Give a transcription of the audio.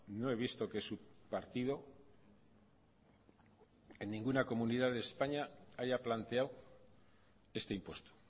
no he visto que su partido en ninguna comunidad de españa haya planteado este impuesto